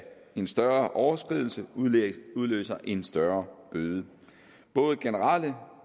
en større overskridelse udløser en større bøde både generelle